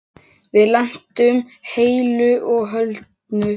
Við lentum heilu og höldnu.